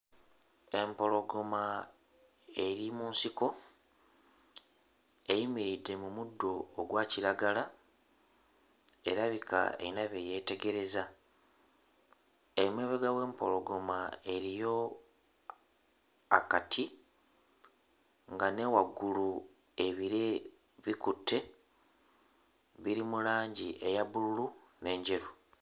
Empologoma eri mu nsiko eyimiridde mu muddo ogwa kiragala erabika eyina bye yeetegereza. Emabega w'empologoma eriyo akati nga ne waggulu ebire bikutte biri mu langi eya bbululu n'enjeru.